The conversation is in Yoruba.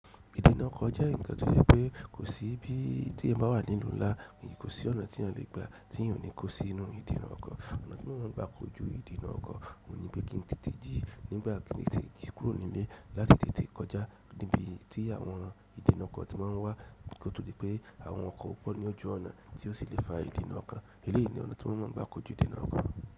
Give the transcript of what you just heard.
Ìdènà ọkọ̀ jẹ́ ǹkan tó jẹ́ pé kò sí bí tí ẹ́eyan bá wà nínú ńlá, kò sí ọ̀nà tí eeyan lè gba tí eeyan ò ní kó sí inú ìdènà ọkọ̀. Ọ̀nà tí mọ́ máa ń gbà ko jú ìdènà ọkọ̀ oun ní pé kí n tètè jí nígbà kin tètè jí kúrò nílé láti tètè kọjá níbi tí àwọn ìdènà ọkọ̀ ti máa ń wà, koto dipe àwọn ọkọ̀ pọ́ ní ojú ọ̀nà tí ó sì lè fa ìdènà ọkọ̀. Eleyìí ni ọ̀nà tí wọ́n máa ń gbà kojú ìdènà ọkọ̀.